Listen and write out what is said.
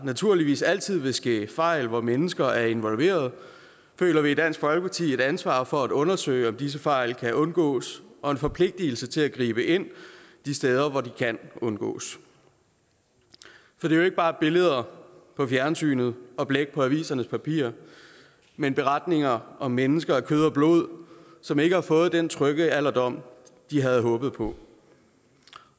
naturligvis altid vil ske fejl hvor mennesker er involveret føler vi i dansk folkeparti et ansvar for at undersøge om disse fejl kan undgås og en forpligtelse til at gribe ind de steder hvor fejlene kan undgås det er jo ikke bare billeder på fjernsynet og blæk på avisernes papirer men beretninger om mennesker af kød og blod som ikke har fået den trygge alderdom de havde håbet på